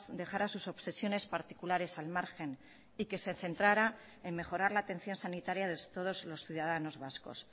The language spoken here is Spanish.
dejara sus obsesiones particulares al margen y que se centrara en mejorar la atención sanitaria de todos los ciudadanos vascos